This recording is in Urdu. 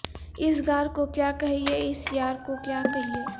اس غار کو کیا کہیے اس یار کو کیا کہیے